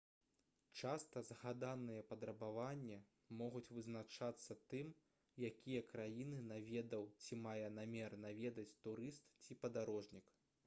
часта згаданыя патрабаванні могуць вызначацца тым якія краіны наведаў ці мае намер наведаць турыст ці падарожнік